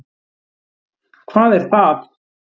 Hvað er það?